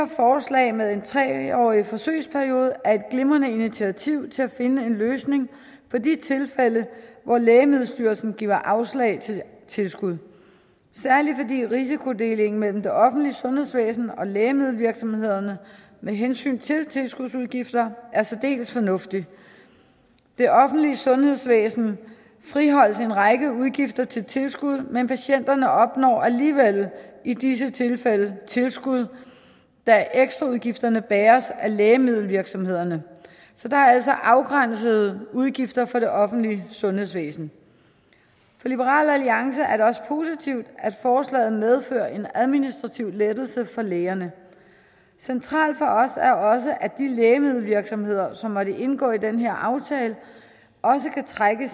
forslag med en tre årig forsøgsperiode er et glimrende initiativ til at finde en løsning på de tilfælde hvor lægemiddelstyrelsen giver afslag til tilskud særlig fordi risikodelingen mellem det offentlige sundhedsvæsen og læggemiddelvirksomhederne med hensyn til tilskudsudgifter er særdeles fornuftig det offentlige sundhedsvæsen friholdes for en række udgifter til tilskud men patienterne opnår alligevel i disse tilfælde tilskud da ekstraudgifterne bæres af lægemiddelvirksomhederne så der er altså afgrænsede udgifter for det offentlige sundhedsvæsen for liberal alliance er det også positivt at forslaget medfører en administrativ lettelse for lægerne centralt for os er også at de lægemiddelvirksomheder som måtte indgå i den her aftale kan trække